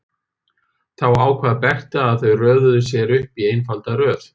Þá ákvað Berta að þau röðuðu sér upp í einfalda röð.